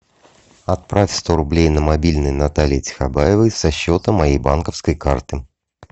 отправь сто рублей на мобильный натальи тихобаевой со счета моей банковской карты